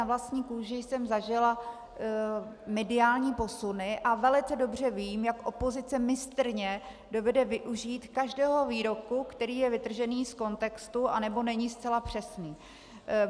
Na vlastní kůži jsem zažila mediální posuny a velice dobře vím, jak opozice mistrně dovede využít každého výroku, který je vytržený z kontextu nebo není zcela přesný.